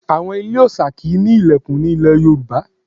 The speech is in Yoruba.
Àwọn ilé òòṣà kì í ní ilẹ̀kùn ní ilẹ̀ Yorùbá.